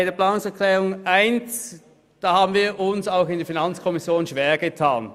Bei der Planungserklärung 1 haben wir uns auch in der FiKo schwergetan.